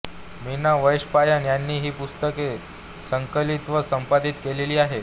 मीना वैशंपायन यांनी ही पुस्तके संकलित व संपादित केलेली आहेत